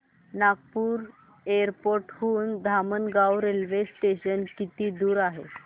Nagpur airport हून Dhamangaon railway station किती दूर आहे